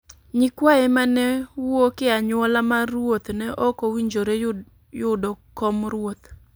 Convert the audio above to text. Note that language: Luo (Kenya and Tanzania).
nyikwaye ma ne wuok e anyuola mar ruoth ne ok owinjore yudo kom ruoth,